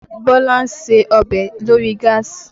Bọ́lá ń ṣe ọbẹ̀ lórí gáàsì